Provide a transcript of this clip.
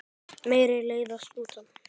Mér leiðast luntar.